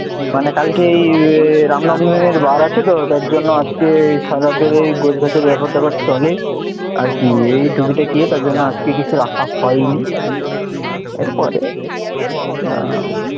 মানে কালকে রামনবমীর দিন বার আছে তো তার জন্যে আজকে সারারাত ধরে গোছ গাছের ব্যাপার ট্যাপার চলে আর কি এই টুকিটাকি তার জন্য আজকে কিছু রাখা হয়নি, এর পরে দেবে আহ